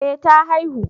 eh ta haihu